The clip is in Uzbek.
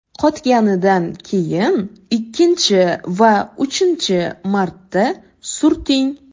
Qotganidan keyin ikkinchi va uchinchi marta surting.